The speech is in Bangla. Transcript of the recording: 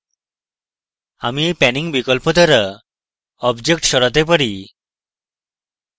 আমি এই panning বিকল্প দ্বারা object সরাতে panning